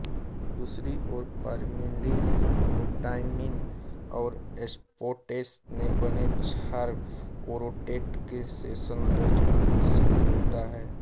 दूसरी ओर pyrimidine glutamine और एस्पार्टेट से बने क्षार ओरोटेट से संश्लेषित होता है